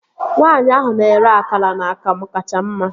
Nwaanyi ahụ na-ere akara na akamu kacha mma